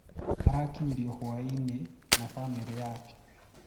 "Arakinyĩrio hwaĩnina bamĩrĩ yake"